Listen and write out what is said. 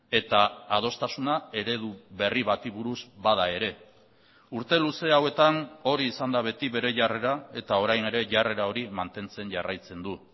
eta adostasuna eredu berri bati buruz bada ere urte luze hauetan hori izan da beti bere jarrera eta orain ere jarrera hori mantentzen jarraitzen du